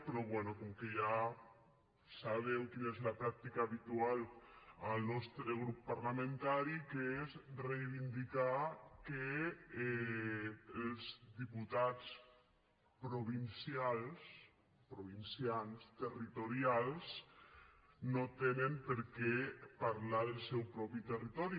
però bé com que ja sabeu quina és la pràctica habitual al nostre grup parlamentari que és reivindicar que els diputats provincials provincians territorials no tenen per què parlar del seu propi territori